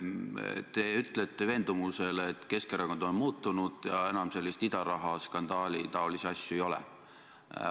Te ütlete veendunult, et Keskerakond on muutunud ja enam selliseid idarahaskandaali moodi asju ei ole.